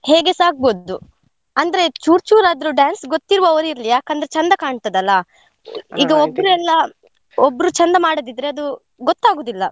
ಹೇಗೆಸ ಅಗ್ಬೋದು. ಅಂದ್ರೆ ಚೂರ್ ಚೂರ್ ಆದ್ರೂ dance ಗೊತಿದ್ದವ್ರ್ ಇರ್ಲಿ. ಯಾಕಂದ್ರೆ ಚಂದ ಕಾಣ್ತದೆ, ಅಲ್ಲಾ? ಒಬ್ರು ಚಂದ ಮಾಡದಿದ್ರೆ ಅದು ಗೊತ್ತಾಗುದಿಲ್ಲ.